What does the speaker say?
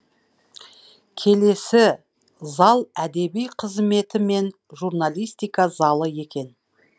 келесі зал әдеби қызметі мен журналистика залы екен